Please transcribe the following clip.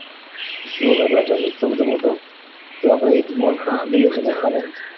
અરેરેરે એટલો બધો મોટો તો અપડે એ જ mall ખરીદી લઈએ તો નાં ચાલે.